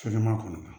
Fɛn ma kɔnɔ